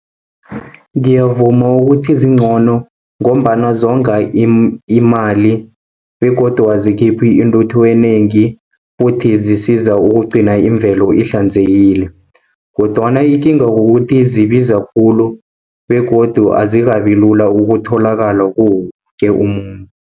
Ngiyavuma ukuthi ezingcono, ngombana zonga imali, begodu azikhiphe intuthu enengi, futhi zisiza ukugcina imvelo ihlanzekile, kodwana ikinga kukuthi zibiza khulu, begodu azikabi lula ukutholakala kuwo woke umuntu.